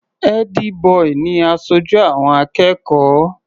Ẹ́dí-bọì ni aṣojú àwọn akẹ́kọ̀ọ́.